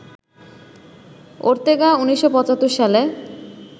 Ortega ১৯৭৫ সালে